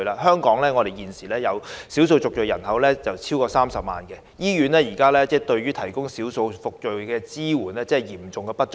香港現時少數族裔人口超過30萬，醫院為他們提供的支援嚴重不足。